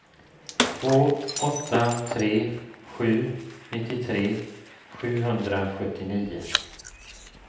två åtta tre sju nittiotre sjuhundrasjuttionio